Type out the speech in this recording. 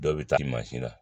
Dɔw bɛ taa mansin na